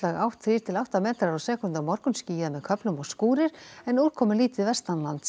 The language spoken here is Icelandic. átt þrír til átta metrar á sekúndu á morgun skýjað með köflum og skúrir en úrkomulítið